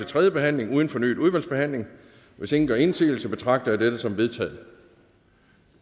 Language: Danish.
tredje behandling uden fornyet udvalgsbehandling hvis ingen gør indsigelse betragter jeg dette som vedtaget